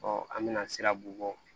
an bɛna siraban